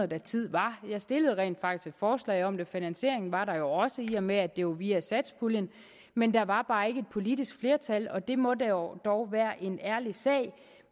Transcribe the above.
da tid var jeg stillede rent faktisk et forslag om det finansiering var der jo også i og med at det var via satspuljen men der var bare ikke et politisk flertal og det må dog dog være en ærlig sag